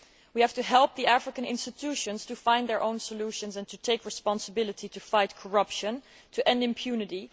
We have to help the African institutions to find their own solutions and to take responsibility for fighting corruption and ending impunity.